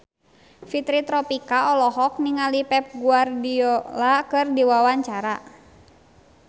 Fitri Tropika olohok ningali Pep Guardiola keur diwawancara